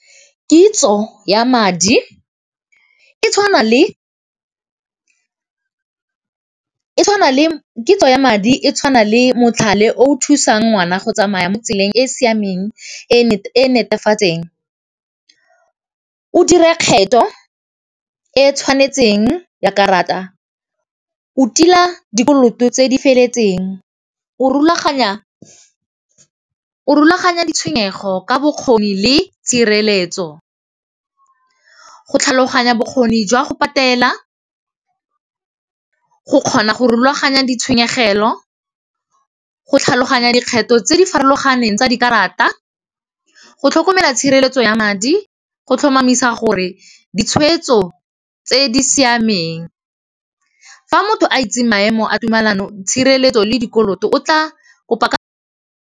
Kitso ya madi e tshwana le motlhale o thusang ngwana go tsamaya mo tseleng e siameng e netefatseng. O dire kgetho e tshwanetseng ya karata, o tila dikoloto tse di feletseng, o rulaganya ditshwenyego ka bokgoni le tshireletso. Go tlhaloganya bokgoni jwa go patela, go kgona go rulaganya ditshenyegelo, go tlhaloganya dikgetho tse di farologaneng tsa dikarata. Go tlhokomela tshireletso ya madi go tlhomamisa gore ditshwetso tse di siameng, fa motho a itse maemo a tumelano, tshireletso le dikoloto o tla kopa .